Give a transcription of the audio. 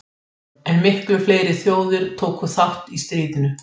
Almennt gildir hið þveröfuga.